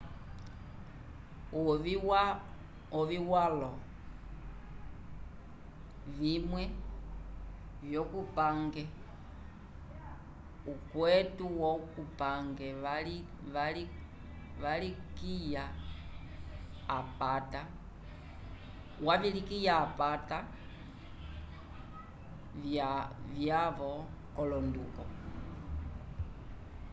ovi walo vimwe vyo vupange ukwetu wo kupange vavilikya apata vyavo ko londuko